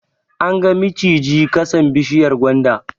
An ga mijiji ƙasan bishiyar gwanda